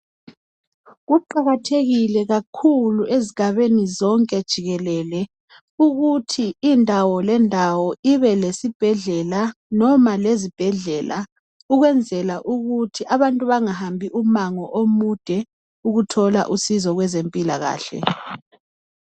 Kuqakathekile kakhulu ezigabeni zonke jikelele ukuthi indawo ngendawo ibelesibhedlela noma lezibhedlela ukwenzela ukuthi abantu bangahambi umango omude ukuthola usizo kwezempilakahle.